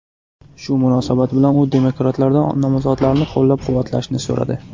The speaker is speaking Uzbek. Shu munosabat bilan u demokratlardan nomzodlarni qo‘llab-quvvatlashni so‘radi.